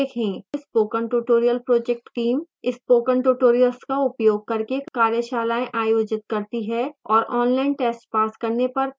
spoken tutorial project team spoken tutorials का उपयोग करके कार्यशालाएँ आयोजित करती है और ऑनलाइन टेस्ट पास करने पर प्रमाणपत्र देती है